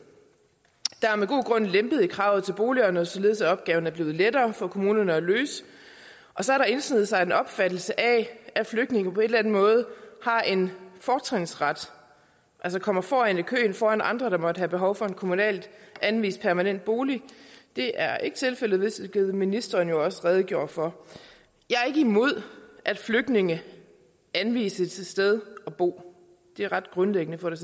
god grund lempet i kravet til boligerne således at opgaven er blevet lettere for kommunerne at løse og så er der indsneget sig en opfattelse af at flygtninge på en eller anden måde har en fortrinsret altså kommer foran i køen foran andre der måtte have behov for en kommunalt anvist permanent bolig det er ikke tilfældet hvilket ministeren jo også redegjorde for jeg er ikke imod at flygtninge anvises et sted at bo det er ret grundlæggende for